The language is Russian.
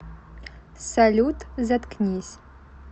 салют заткнись